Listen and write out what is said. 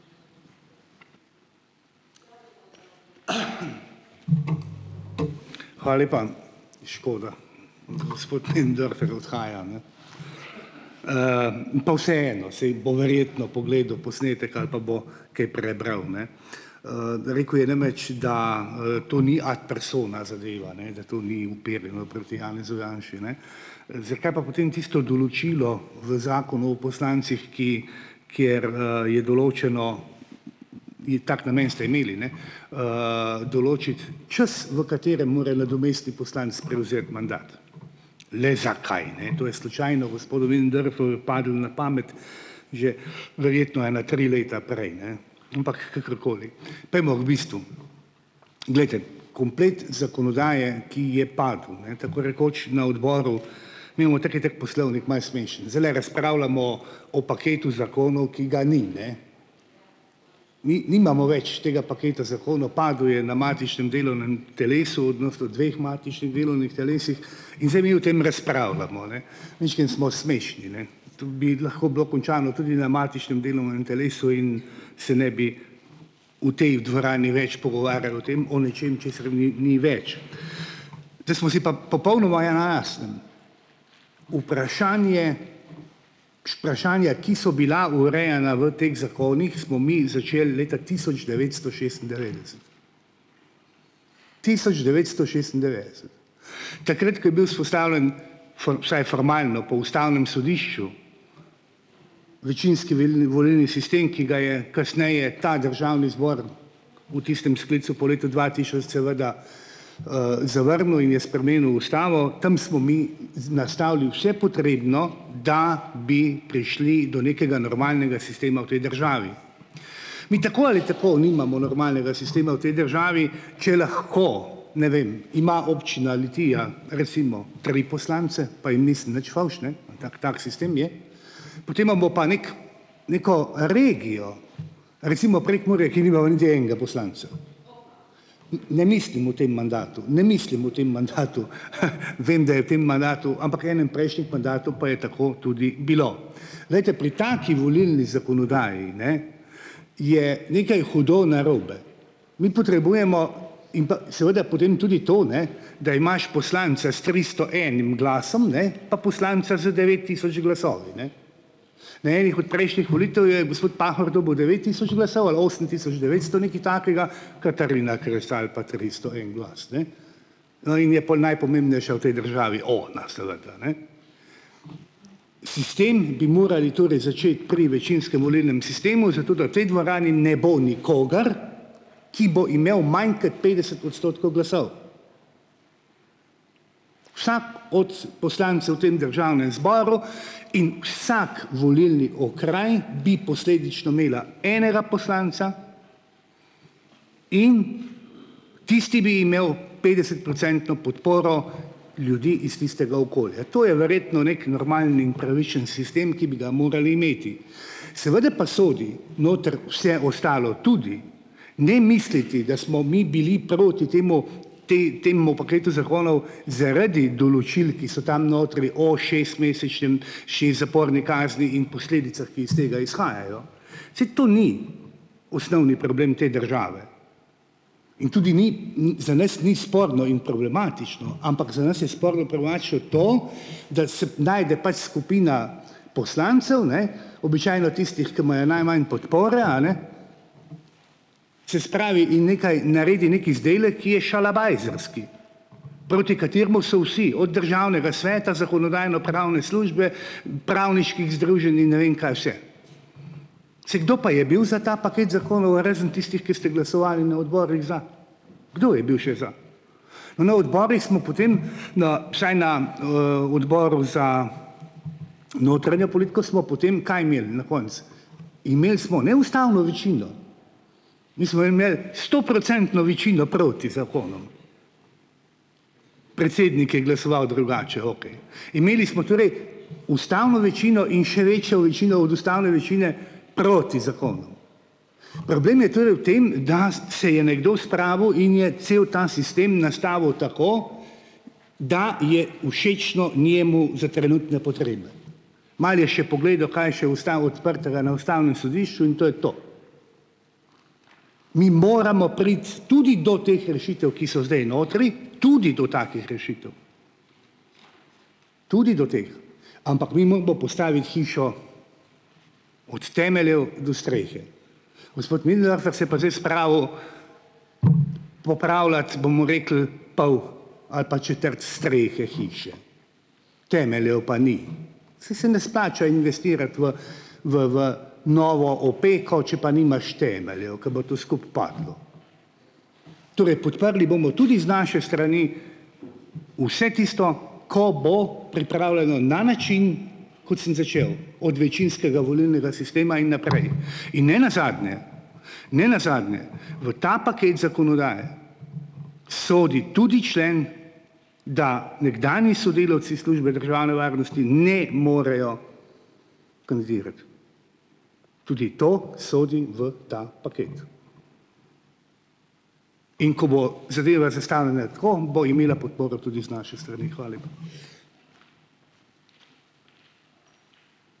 lepa. Škoda, gospod odhaja, ne. Pa vseeno, saj bo verjetno pogledal posnetek ali pa bo kaj prebral, ne. Rekel je namreč, da, to ni ad personam zadeva, ne, da to ni uperjeno proti Janezu Janši, ne. Zakaj pa potem tisto določilo v zakonu o poslancih, ki kjer, je določeno, je tako namen ste imeli, ne, določiti čas, v katerem mora nadomestni poslanec prevzeti mandat. Le zakaj ne, to je slučajno gospodu padlo na pamet že verjetno ena tri leta prej, ne. Ampak kakorkoli, pojdimo k bistvu. Glejte, komplet zakonodaje, ki je padel, ne, tako rekoč na odboru, mi imamo tako in tako poslovnik malo smešen, zdajle razpravljamo o paketu zakonov, ki ga ni, ne. nimamo več tega paketa zakonov, padel je na matičnem delovnem telesu, dveh matičnih delovnih telesih in zdaj mi o tem razpravljamo, ne. Majčkeno smo smešni, ne. To bi lahko bilo končano tudi na matičnem delovnem telesu in se ne bi v tej dvorani več pogovarjali o tem, o nečem, česar ni ni več. Da smo si pa popolnoma vprašanje, vprašanje, ki so bila urejana v teh zakonih, smo mi začeli leta tisoč devetsto šestindevetdeset, tisoč devetsto šestindevetdeset. Takrat, ko je bil vzpostavljen, vsaj formalno po ustavnem sodišču večinski volilni sistem, ki ga je kasneje ta državni zbor v tistem sklicu po letu dva tisoč seveda zavrnil in je spremenil ustavo. Tam smo mi nastavili vse potrebno, da bi prišli do nekega normalnega sistema v tej državi. Mi tako ali tako nimamo normalnega sistema v tej državi, če lahko ne vem, ima občina Litija recimo tri poslance, pa jim nisem nič fovš, ne, ima tak tak sistem je, potem imamo pa nekaj neko regijo, recimo Prekmurje, Ne mislim v tem mandatu, ne mislim v tem mandatu h vem, da je v tem mandatu, ampak enem prejšnjih mandatov pa je tako tudi bilo. Glejte, pri taki volilni zakonodaji, ne, je nekaj hudo narobe. Mi potrebujemo in pa seveda potem tudi to, ne, da imaš poslanca s tristo enim glasom ne, pa poslanca z devet tisoč glasovi, ne. Na ene od prejšnjih volitev je gospod Pahor dobil devet tisoč glasov ali osem tisoč devetsto, nekaj takega, Katarina Kresal pa tristo en glas, ne. No, in je pol najpomembnejša v tej državi ona seveda, ne. Sistem bi morali začeti pri večinskem volilnem sistemu zato, da tej dvorani ne bo nikogar, ki bo imel manj, kot petdeset odstotkov glasov. Vsak od poslancev v tem zboru in vsak volilni okraj bi posledično imela enega poslanca in tisti bi imel petdesetprocentno podporo ljudi iz tistega okolja. To je verjetno neki normalni in pravičen sistem, ki bi ga morali imeti. Seveda pa sodi noter vse ostalo tudi, ne misliti, da smo mi bili proti temu, potem temu paketu zakonov zaradi določil, ki so tam notri o šestmesečnem, še zaporni kazni in posledicah, ki iz tega izhajajo. Saj to ni osnovni problem te države. In tudi ni ni, za nas ni sporno in problematično, ampak za nas je, da se najde pač skupina poslancev, ne, običajno tistih, ki imajo najmanj podpore, a ne, Se pravi in nekaj naredi, neki izdelek, ki je šalabajzerski, proti kateremu so vsi, od državnega sveta, Zakonodajno-pravne službe, pravniških združenj in ne vem kaj vse. Saj, kdo pa je bil za ta paket zakonov, razen tistih, ki ste glasovali na odborih za? Kdo je bil še za? Na odborih smo potem, na vsaj na, Odboru za notranjo politiko smo potem kaj imeli na koncu? Imeli smo neustavno večino. Mi smo imeli stoprocentno večino proti zakonom. Predsednik je glasoval drugače, okej. Imeli smo torej ustavno večino in še večjo večino od ustavne večine proti zakonom. Problem je torej v tem, da se je nekdo spravil in je cel ta sistem nastavil tako, da je všečno njemu za trenutne potrebe. Malo je še pogledal, kaj je še ostalo odprtega na ustavnem sodišču, in to je to. Mi moramo priti tudi do teh rešitev, ki so zdaj notri, tudi do takih rešitev. Tudi do teh. Postaviti hišo od temeljev do strehe. Gospod Möderndorfer se pa zdaj spravil popravljati, bomo rekli, pol ali pa četrt strehe hiše, temeljev pa ni. Saj se ne splača investirati v v v novo opeko, če pa nimaš temeljev, ko bo to skupaj padlo. podprli bomo tudi z naše strani vse tisto, ko bo pripravljeno na način, kot sem začel, od večinskega volilnega sistema in naprej. In nenazadnje nenazadnje, v ta paket zakonodaje sodi tudi člen, da nekdanji sodelavci Službe državne varnosti ne morejo. Tudi to sodi v ta paket. In ko bo zadeva zastavljena tako, bo imela podporo tudi z naše strani, lepa.